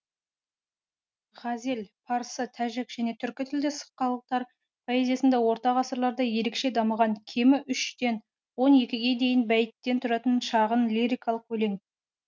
ғазел парсы тәжік және түркі тілдес халықтар поэзиясында орта ғасырларда ерекше дамыған кемі үштен он екіге дейін бәйіттен тұратын шағын лирикалық өлең